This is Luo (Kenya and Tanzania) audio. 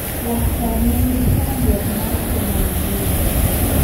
Laktar ne ni gi chandruok mar tuo malaria.